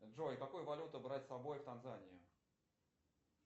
джой какую валюту брать с собой в танзанию